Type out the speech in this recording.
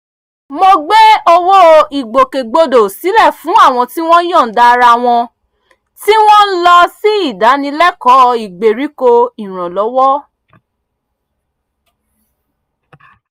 mo gbé owó ìgbòkegbodò sílẹ̀ fún àwọn tí wọ́n yọ̀ǹda ara wọn tí wọ́n ń lọ sí ìdánilẹ́kọ̀ọ́ ìgbériko ìrànlọ́wọ́